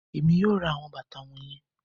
Èmí yóò ra awọn bàtà wọnyẹn